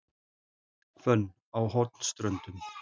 Hvönn á Hornströndum